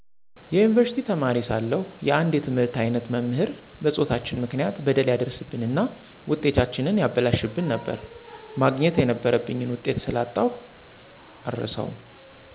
የዩኒቨርሲቲ ተማሪ ሳለሁ የአንድ የትምህርት አይነት መምህር በፆታችን ምክንያት በደል ያደርስብንና ውጤታችንን ያበላሽብን ነበር፣ ማግኘት የነበረብኝን ውጤት ስላጣሁ የአረሳውም።